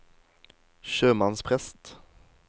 sjømannsprest